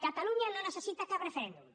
catalunya no necessita cap referèndum